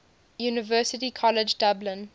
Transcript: university college dublin